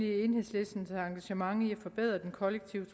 enhedslistens engagement i at forbedre den kollektive